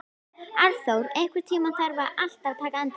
Arnþór, einhvern tímann þarf allt að taka enda.